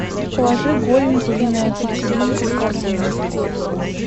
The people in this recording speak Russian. положи голень куриная петелинка в корзину